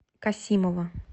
касимова